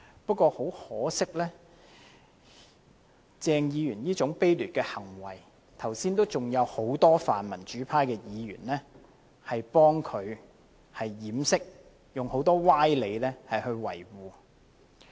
不過，很可惜，即使鄭議員做出這種卑劣的行為，剛才仍有很多泛民主派議員給他掩飾，用很多歪理來維護。